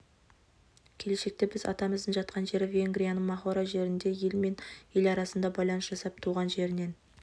келешекте біз атамыздың жатқан жері венгрияның махора жерінде ел мен ел арасында байланыс жасап туған жерінен